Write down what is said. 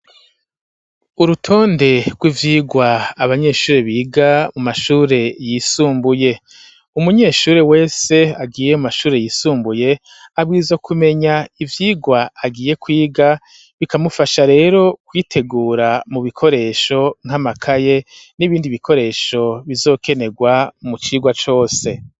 Urutonde rw'ivyigwa abanyeshure biga mu mashure yisumbuye. Umunyeshure wese agiye mu mashure yisumbuye abwirizwa kumenya ivyigwa agiye kwiga, bikamufasha rero kwitegura mu bikoresho: nk'amakaye n'ibindi bikoresho bizokenegwa mu cigwa cose.